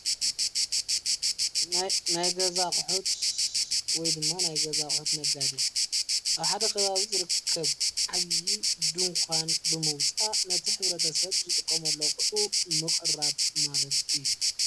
ናይ ገዛ ኣቕሑት ወይ ድማ ናይ ገዛ ቕሑት ነጋዴ ኣብ ሓደ ኽባቢ ዝርከብ ዓብዪ ድንኳን ብመውፃእ ነቲ ሕብረተ ሰብ ዝጥቀምሉ ኣቝሑ ምቕራብ ማለት እዩ፡፡